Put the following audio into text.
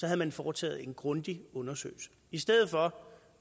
havde man foretaget en grundig undersøgelse i stedet for